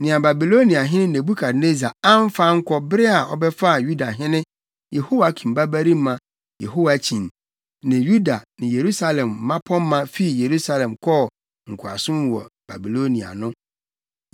Nea Babiloniahene Nebukadnessar amfa ankɔ bere a ɔbɛfaa Yudahene Yehoiakim babarima Yehoiakyin ne Yuda ne Yerusalem mmapɔmma fii Yerusalem kɔɔ nkoasom mu wɔ Babilonia no.